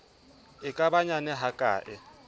e ka ba nyane hakae